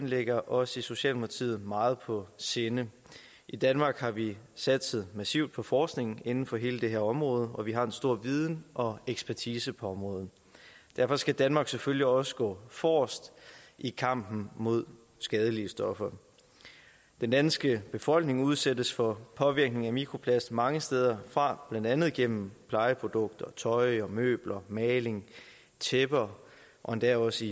ligger os i socialdemokratiet meget på sinde i danmark har vi satset massivt på forskningen inden for hele det her område og vi har en stor viden og ekspertise på området derfor skal danmark selvfølgelig også gå forrest i kampen mod skadelige stoffer den danske befolkning udsættes for påvirkning af mikroplast mange steder fra blandt andet gennem plejeprodukter tøj møbler maling tæpper og endda også